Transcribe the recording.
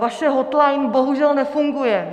Vaše hotline bohužel nefunguje.